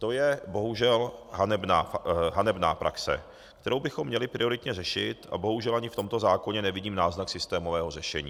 To je bohužel hanebná praxe, kterou bychom měli prioritně řešit, a bohužel ani v tomto zákoně nevidím náznak systémového řešení.